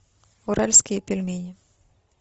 уральские пельмени